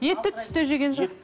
етті түсте жеген жөн